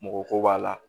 Mɔgɔ ko b'a la